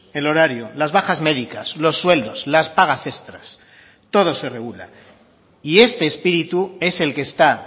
el horario las bajas médicas los sueldos las pagas extras todo se regula y este espíritu es el que está